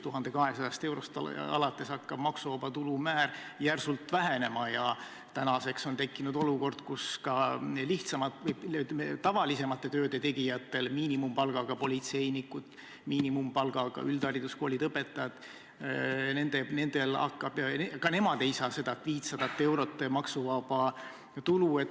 1200 eurost alates hakkab maksuvaba tulu määr järsult vähenema ja tänaseks on tekkinud olukord, kus ka lihtsamate, tavalisemate tööde tegijad – miinimumpalgaga politseinikud, miinimumpalgaga üldhariduskoolide õpetajad –, ka nendele pole seda 500 eurot maksuvaba tulu võimaldatud.